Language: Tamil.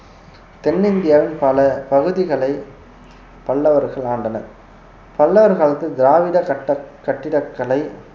தென்னிந்தியாவில் பல பகுதிகளை பல்லவர்கள் ஆண்டனர் பல்லவர் காலத்தில் திராவிட கட்ட~ கட்டிடக்கலை